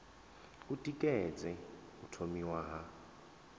u tikedza u thomiwa ha